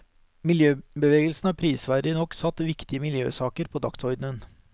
Miljøbevegelsen har prisverdig nok satt viktige miljøsaker på dagsordenen.